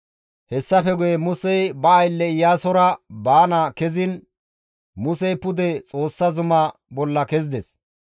Hessafe guye Musey ba aylle Iyaasora baana keziin Musey pude Xoossa zumaa bolla kezides.